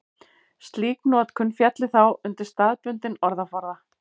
slík notkun félli þá undir staðbundinn orðaforða